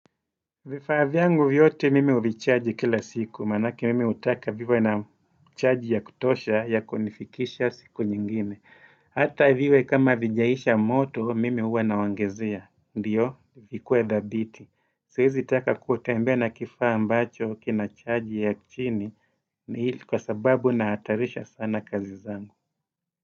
Vifaa vyangu vyote mimi huvicharge kila siku, manake mimi hutaka viwe na charge ya kutosha, ya kunifikisha siku nyingine. Hata viwe kama vijaisha moto, mimi huwa naongezea. Ndiyo? Vikuwe thabiti. Siwezi taka kutembea na kifaa ambacho kina charge ya chini. Ni hili kwa sababu nahatarisha sana kazi zangu.